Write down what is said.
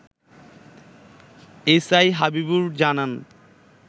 SI Habibur জানান